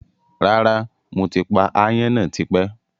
Rárá, mo ti pa áyán náà tipẹ́